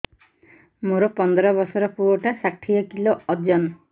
ମୋର ପନ୍ଦର ଵର୍ଷର ପୁଅ ଟା ଷାଠିଏ କିଲୋ ଅଜନ